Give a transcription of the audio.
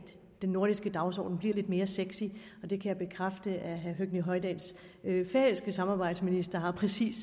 den nordiske dagsorden bliver lidt mere sexy jeg kan bekræfte at herre høgni hoydals færøske samarbejdsminister har præcis